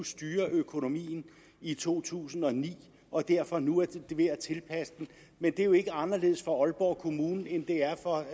styre økonomien i to tusind og ni og derfor nu er ved at tilpasse den men det er jo ikke anderledes for aalborg kommune end det er for